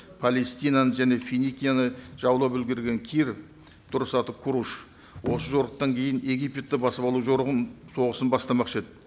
палестинаны және финикияны жаулап үлгерген кир осы жорықтан кейін египетті басып алу жорығын соғысын бастамақшы еді